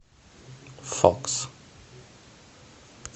фокс